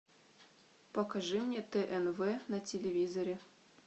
покажи мне тнв на телевизоре